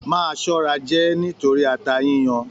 Máa ṣọra jẹ ẹ nítorí ata yiyan!